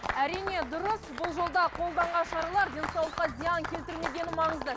әрине дұрыс бұл жолда қолданған шаралар денсаулыққа зиян келтірмегені маңызды